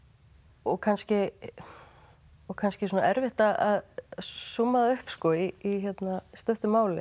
og kannski og kannski svona erfitt að súmma það upp í stuttu máli